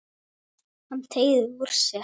Hann teygir úr sér.